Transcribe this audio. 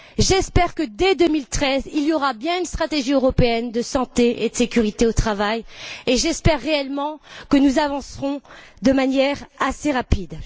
j'espère que, dès 2013, il y aura bien une stratégie européenne de santé et de sécurité au travail et j'espère réellement que nous avancerons de manière assez rapide.